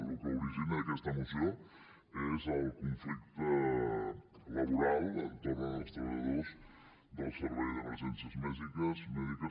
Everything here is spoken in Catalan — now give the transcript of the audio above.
el que origina aquesta moció és el conflicte laboral entorn dels treballadors del servei d’emergències mèdiques